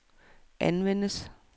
anvendes